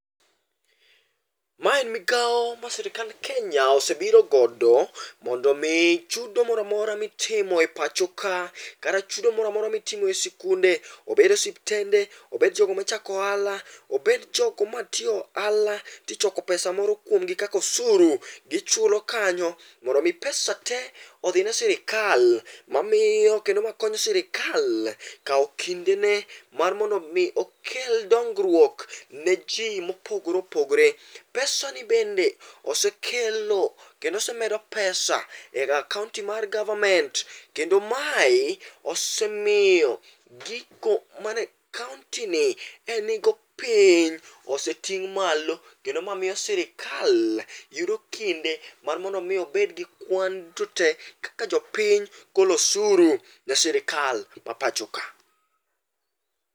Ma en migawo mar sirikand Kenya osebiro godo mondo omi chudo moramora mitimo e pacho ka kata chudo moramora mitimo e skunde, obed osiptende, obed jogo mochako ohala, obed jogo matiyo ohala tichoko pesa moro kuomgi kaka osuru, ichulo kanyo mondo omi pesa te odhine sirikal mamiyo kendo makonyo sirikal kawo kindene mar miyo okel dongruok ne ji mopogore opogore. Pesani bende osekelo kendo osemedo pesa e kaonti mar government kendo mae osemiyo gigo mane kaontini e nigo piny oseting' malo kendo ma miyo sirikal yudo kinde mar mondo omi obed gi kwan duto te kaka jopiny golo osuru e sirikal ma pacho ka.